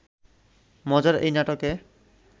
মজার এই নাটকে